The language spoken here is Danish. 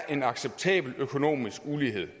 en acceptabel økonomisk ulighed